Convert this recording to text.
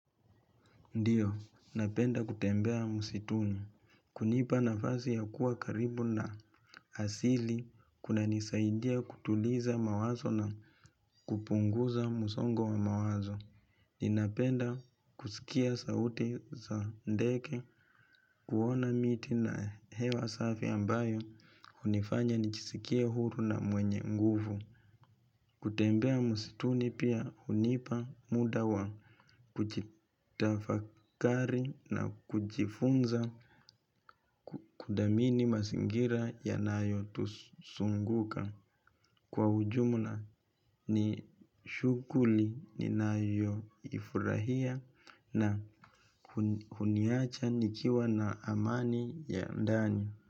Ndiyo, napenda kutembea musituni. Kunipa nafasi ya kuwa karibu na asili kunanisaidia kutuliza mawazo na kupunguza musongo wa mawazo. Ninapenda kusikia sauti za ndege kuona miti na hewa safi ambayo hunifanya nijisikia huru na mwenye nguvu kutembea msituni pia hunipa muda wa kujitafakari na kujifunza kudhamini mazingira yanayo tuzunguka. Kwa ujumla ni shughuli ninayo ifurahia na huniacha nikiwa na amani ya ndani.